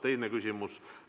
Teine küsimus.